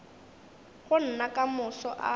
go nna ka moso a